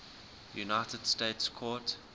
united states court